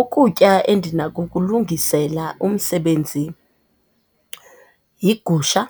Ukutya endinakukulungisela umsebenzi yigusha.